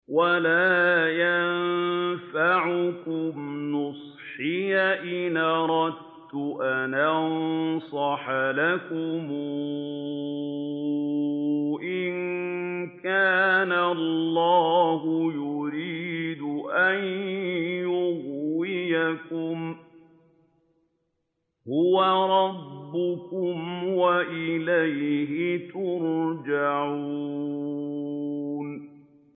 وَلَا يَنفَعُكُمْ نُصْحِي إِنْ أَرَدتُّ أَنْ أَنصَحَ لَكُمْ إِن كَانَ اللَّهُ يُرِيدُ أَن يُغْوِيَكُمْ ۚ هُوَ رَبُّكُمْ وَإِلَيْهِ تُرْجَعُونَ